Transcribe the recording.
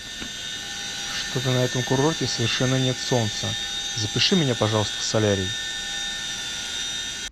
что то на этом курорте совершенно нет солнца запиши меня пожалуйста в солярий